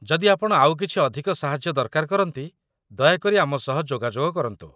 ଯଦି ଆପଣ ଆଉ କିଛି ଅଧିକ ସାହାଯ୍ୟ ଦରକାର କରନ୍ତି, ଦୟାକରି ଆମ ସହ ଯୋଗାଯୋଗ କରନ୍ତୁ।